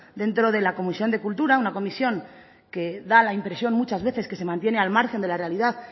dentro de la comisión de cultura una comisión que da la impresión muchas veces que se mantiene al margen de la realidad